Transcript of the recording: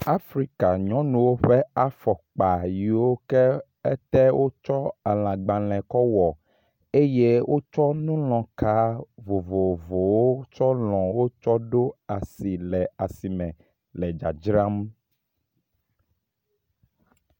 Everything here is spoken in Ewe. Afrika nyɔnuwo ƒe afɔkpa yiwo ƒe ete wotsɔ elãgbalẽ kɔ wɔ eye wotsɔ nulɔka vovovowo tsɔ lɔ wotsɔ ɖo asi le asime le dzadzram.